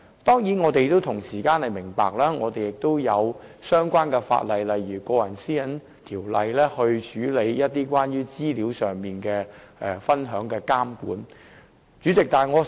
當然，我們也明白有相關法例如《個人資料條例》處理關乎資料分享的監管問題。